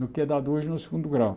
Do que é dado hoje no segundo grau.